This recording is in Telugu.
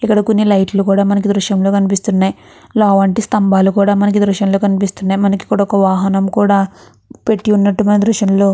ఇక్కడ కొన్ని లైట్లు కూడా మనకి దృశ్యంలో కనిపిస్తూ ఉన్నాయి లావంటి స్తంభాలు కూడా ఈ దృశ్యం లో కనిపిస్తున్నాయి వాహనం కూడా పెట్టి ఉన్నట్టు మనము ఎదుృశ్యంలోనే.